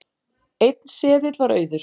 Einn seðill var auður